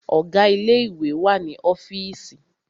Ọ̀gá ilé ìwé wà ní ọ́fììsì.